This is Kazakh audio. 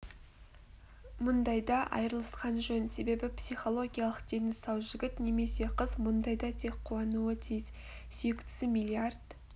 мұндайда айырылысқан жөн себебі психологиялық дені сау жігіт немесе қыз мұндайда тек қуануы тиіс сүйіктісі миллиард